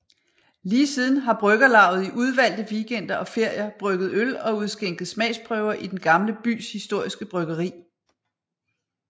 Lige siden har bryggerlavet i udvalgte weekender og ferier brygget øl og udskænket smagsprøver i Den Gamle Bys historiske bryggeri